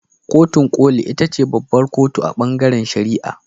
Kotun koli ita ce babbar kotu a ɓangaren shari'a.